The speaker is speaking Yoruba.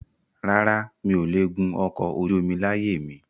Rárá, mi ò le gùn ọkọ̀ ojú omi láyé mi